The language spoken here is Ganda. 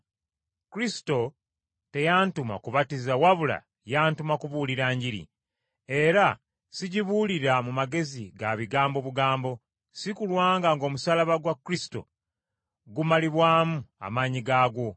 Kristo teyantuma kubatiza wabula yantuma kubuulira Njiri. Era sigibuulira mu magezi ga bigambo bugambo, si kulwa ng’omusaalaba gwa Kristo gumalibwamu amaanyi gaagwo.